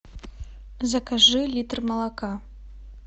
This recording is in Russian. закажи литр молока